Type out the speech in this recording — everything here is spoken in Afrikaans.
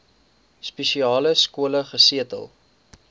spesiale skole gesetel